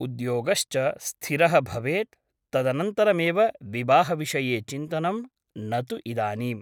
उद्योगश्च स्थिरः भवेत् । तदनन्तरमेव विवाहविषये चिन्तनं , न तु इदानीम् ।